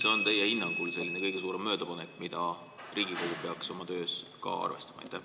Mis on teie hinnangul kõige suurem möödapanek, mida Riigikogu peaks oma töös ka arvestama?